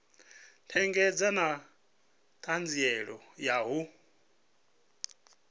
ṋekedza na ṱhanziela ya u